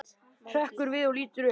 Hrekkur við og lítur upp.